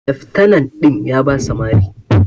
Leftana din ya basa Mari.